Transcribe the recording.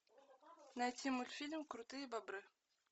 найти мультфильм крутые бобры